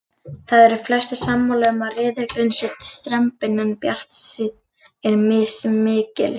Það eru flestir sammála um að riðillinn sé strembinn en bjartsýnin er mismikil.